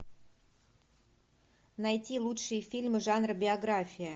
найти лучшие фильмы жанра биография